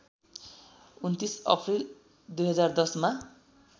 २९ April २०१० मा